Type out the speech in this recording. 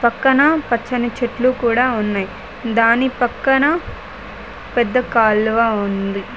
పక్కన పచ్చని చెట్లు కూడా వున్నాయ్ దాని పక్కన పెద్ద కాలువ ఉంది.